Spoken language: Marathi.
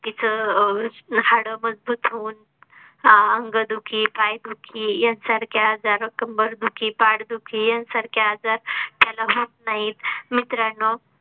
व्यक्ती चं हाड मजबूत होऊन अह अंगदुखी, पाय दुखी यांसारख्या आजार कंबरदुखी, पाठदुखी यांसारखे आजार त्याला मग होत नाहीत मित्रांनो